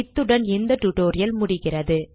இத்துடன் இந்த டியூட்டோரியல் முடிகிறது